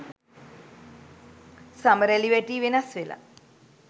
සම රැළ වැටී වෙනස් වෙලා.